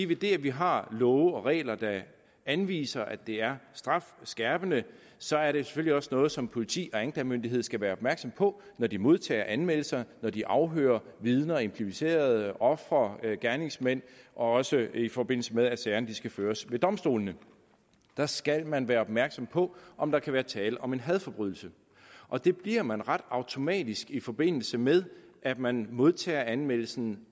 ved det at vi har love og regler der anviser at det er strafskærpende så er det selvfølgelig også noget som politi og anklagemyndighed skal være opmærksom på når de modtager anmeldelser og når de afhører vidner implicerede ofre og gerningsmænd også i forbindelse med at sagerne skal føres ved domstolene der skal man være opmærksom på om der kan være tale om en hadforbrydelse og det bliver man automatisk i forbindelse med at man modtager anmeldelsen